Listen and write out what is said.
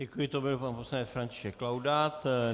Děkuji, to byl pan poslanec František Laudát.